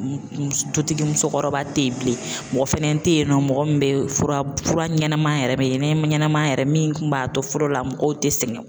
Dutigi musokɔrɔba tɛ yen bilen mɔgɔ fana tɛ yen nɔ mɔgɔ min bɛ fura fura ɲɛnama yɛrɛ ɲɛnɛma yɛrɛ min kun b'a to fɔlɔ la mɔgɔw tɛ sɛgɛn.